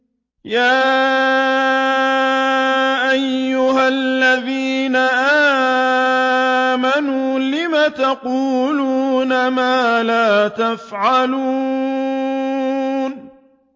يَا أَيُّهَا الَّذِينَ آمَنُوا لِمَ تَقُولُونَ مَا لَا تَفْعَلُونَ